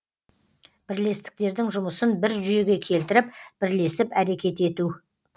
бірлестіктердің жұмысын бір жүйеге келтіріп бірлесіп әрекет ету